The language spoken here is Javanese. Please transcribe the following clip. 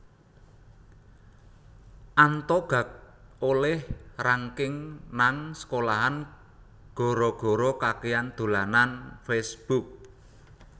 Anto gak oleh ranking nang sekolahan gara gara kakean dolanan Facebook